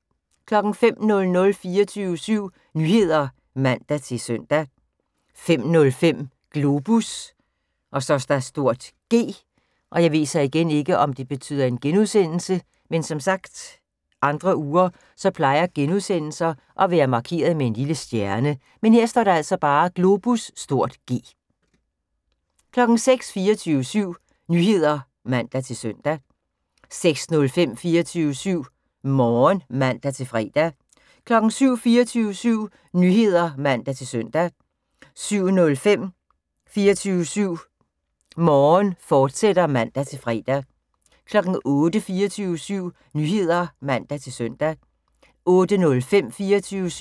05:00: 24syv Nyheder (man-søn) 05:05: Globus (G) 06:00: 24syv Nyheder (man-søn) 06:05: 24syv Morgen (man-fre) 07:00: 24syv Nyheder (man-søn) 07:05: 24syv Morgen, fortsat (man-fre) 08:00: 24syv Nyheder (man-søn) 08:05: 24syv